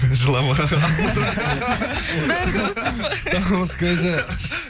жылама бәрі дұрыс деп па табыс көзі